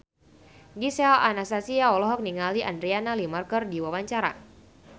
Gisel Anastasia olohok ningali Adriana Lima keur diwawancara